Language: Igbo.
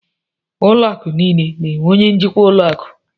Ụlọ akụ̀ niile na-enwe onye njikwa ụlọ akụ.